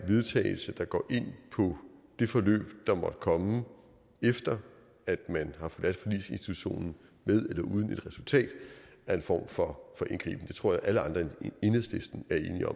vedtagelse der går ind på det forløb der måtte komme efter at man har forladt forligsinstitutionen med eller uden et resultat en form for indgriben det tror jeg alle andre end enhedslisten